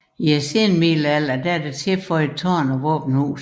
I senmiddelalderen er tilføjet tårn og våbenhus